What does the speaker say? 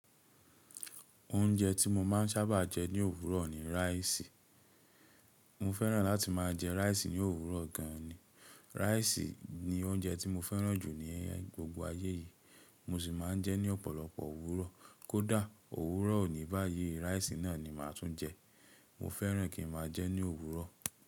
Oúnjẹ tí mo máa ń sábà jẹ ní òwúrọ̀ ni rice. Mo fẹ́ràn láti maa je rice ni òwúrọ̀ gan rice ni oúnjẹ tí mo fẹ́ràn jù ní gbogbo ayé yìí. Mo sì máa ń jẹ ní ọ̀pọ̀lọpọ̀ òwúrọ̀. Kódà òwúrọ̀ òní báyìí, rice náà ni màá tún jẹ. Mo fẹ́ràn kí n máa jẹ ẹ́ ní òwúrọ̀.